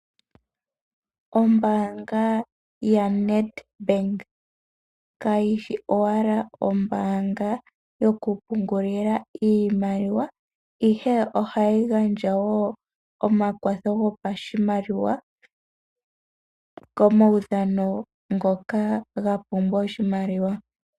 Ombaanga yaNedbank kayishi owala Ombaanga yo kungulila iimaliwa ihe ohayi gandja woo omakwatho go pashimaliwa komaudhano ngoka ga pumbwa oshimaliwa.